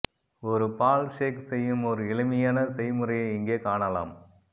ஒரு பால் ஷேக் செய்யும் ஒரு எளிமையான செய்முறையை இங்கே காணலாம்